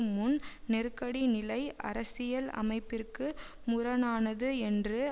முன் நெருக்கடி நிலை அரசியல் அமைப்பிற்கு முரணானது என்று